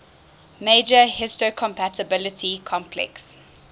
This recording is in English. major histocompatibility complex